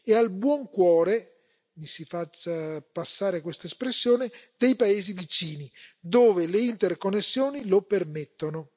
e al buon cuore mi si faccia passare questa espressione dei paesi vicini, dove le interconnessioni lo permettono.